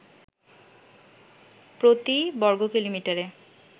প্রতি বর্গকিলোমিটারে